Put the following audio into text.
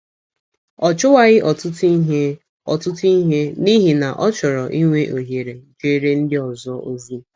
Ọ chụwaghị ọtụtụ ihe ọtụtụ ihe n’ihi na ọ chọrọ inwe ohere jeere ndị ọzọ ozi.